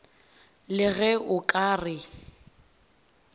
le ge o ka re